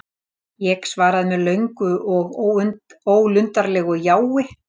Ég svaraði með löngu og ólundarlegu jái.